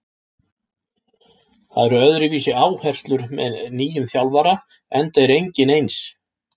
Það eru öðruvísi áherslur með nýjum þjálfara enda er enginn eins.